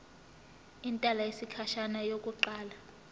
intela yesikhashana yokuqala